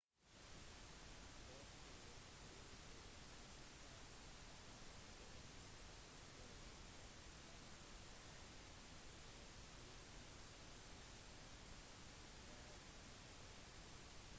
forskere fra det nasjonale orkansenteret forventer at danielle vil forsterkes til en orkan før onsdag